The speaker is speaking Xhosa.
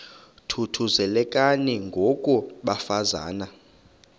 thuthuzelekani ngoko bafazana